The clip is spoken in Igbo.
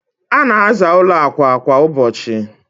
a na-aza ụlọ akwa kwa ụbọchị.